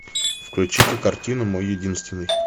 включи ка картину мой единственный